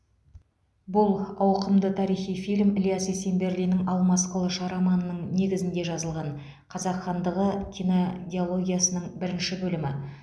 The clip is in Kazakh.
бұл ауқымды тарихи фильм ілияс есенберлиннің алмас қылыш романының негізінде жазылған қазақ хандығы кинодиологиясының бірінші бөлімі